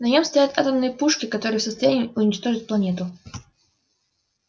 на нем стоят атомные пушки которые в состоянии уничтожить планету